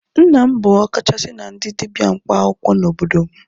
Nna m bụ ọkachasị na ndị dibia mkpaakwụkwọ n'obodo m